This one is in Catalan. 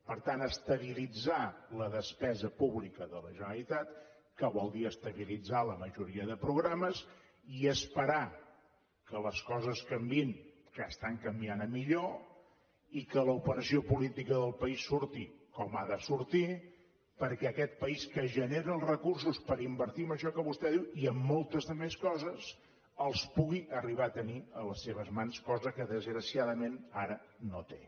per tant estabilitzar la despesa pública de la generalitat que vol dir estabilitzar la majoria de programes i esperar que les coses canviïn que estan canviant a millor i que l’operació política del país surti com ha de sortir perquè aquest país que genera els recursos per invertir en això que vostè diu i en moltes més coses els pugui arribar a tenir a les seves mans cosa que desgraciadament ara no té